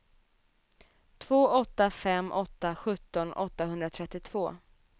två åtta fem åtta sjutton åttahundratrettiotvå